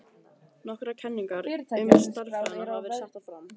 Nokkrar kenningar um stærðina hafa verið settar fram.